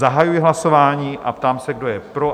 Zahajuji hlasování a ptám se, kdo je pro?